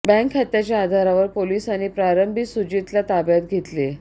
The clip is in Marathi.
बँक खात्याच्या आधारावर पोलिसांनी प्रारंभी सुजितला ताब्यात घेतले